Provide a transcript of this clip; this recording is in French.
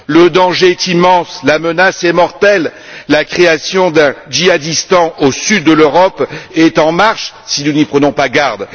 Le danger est immense, la menace est mortelle, la création d'un Djihadistan au sud de l'Europe est en marche si nous n'y prenons pas garde.